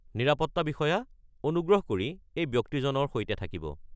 নিৰাপত্তা বিষয়া, অনুগ্ৰহ কৰি এই ব্যক্তিজনৰ সৈতে থাকিব।